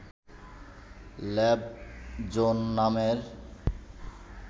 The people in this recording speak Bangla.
ল্যাব-জোন নামের